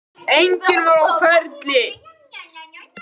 Enginn var á ferli.